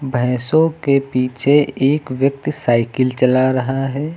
भैंसों के पीछे एक व्यक्ति साइकिल चला रहा है।